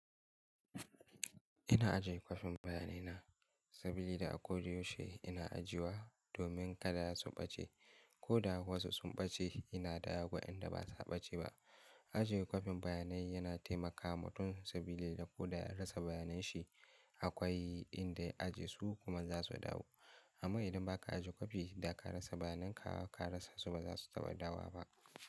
Ina ajiye kwafin bayanai na, sabili da a ko da yaushe ina ajiyewa domin kada ya sun ɓace, ko da ha wasu sun ɓace ina da wadanda ba sa ɓace ba. Ajiye kwafin bayanai yana taimakawa mutun sabili da ko da ya rasa bayanai shi akwai inda ya ajiye su kuma za su dawo. Amma idan ba ka ajiye kwafi da ka rasa bayanai ka ka rasa su ba za su taɓa dawowa ba.